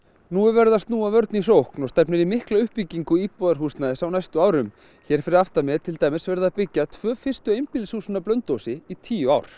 nú er verið að snúa vörn í sókn og stefnir í mikla uppbyggingu íbúðarhúsnæðis á næstu árum hér fyrir aftan mig er til dæmis verið að byggja tvö fyrstu einbýlishúsin á Blönduósi í tíu ár